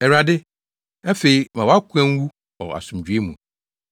“Awurade, afei ma wʼakoa nwu wɔ asomdwoe mu